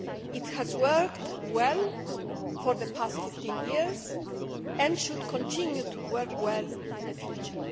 It has worked well for the past 15 years and should continue to work well in the future.